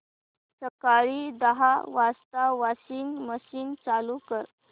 सकाळी दहा वाजता वॉशिंग मशीन चालू कर